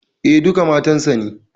E, duka matan sa ne.